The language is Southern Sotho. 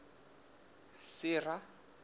sera